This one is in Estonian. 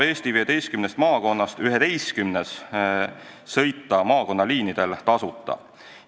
Eesti 15 maakonnast 11-s saab maakonnaliinidel tasuta sõita.